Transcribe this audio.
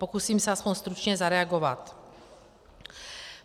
Pokusím se aspoň stručně zareagovat.